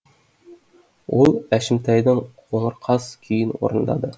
ол әшімтайдың қоңыр қаз күйін орындады